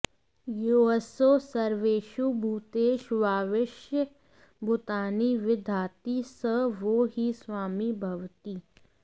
योऽसौ सर्वेषु भूतेष्वाविश्य भूतानि विदधाति स वो हि स्वामी भवति